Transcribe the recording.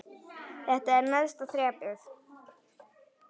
Þetta er neðsta þrepið.